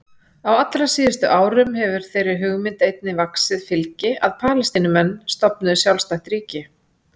Á allra síðustu árum hefur þeirri hugmynd einnig vaxið fylgi að Palestínumenn stofnuðu sjálfstætt ríki.